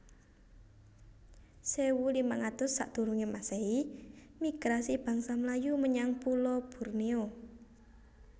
sewu limang atus sakdurunge masehi Migrasi bangsa Melayu menyang pulo Borneo